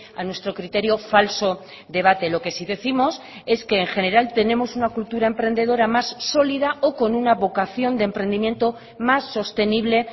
a nuestro criterio falso debate lo que sí décimos es que en general tenemos una cultura emprendedora más sólida o con una vocación de emprendimiento más sostenible